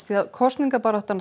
kosningabaráttan